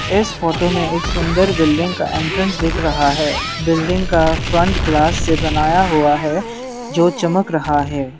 इस फोटो में एक सुंदर बिल्डिंग का एंट्रेंस देख रहा है बिल्डिंग का फ्रंट ग्लास से बनाया हुआ है जो चमक रहा है।